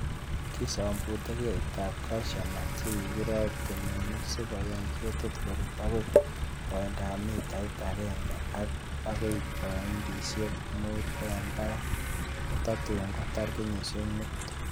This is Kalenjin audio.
Kisombute ketitab cashew nut chekakirob temenik sikoyai ketik korut agoi koindab mitait akenke akoi pointisiek mut en barak. Kototun kotar kenyisiek mut.